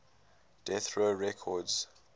death row records